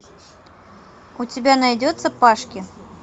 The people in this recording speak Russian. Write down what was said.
у тебя найдется пашки